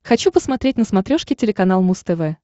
хочу посмотреть на смотрешке телеканал муз тв